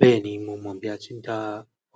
Bẹ́ẹ̀ni mo mọ̀ bí a ti ń dá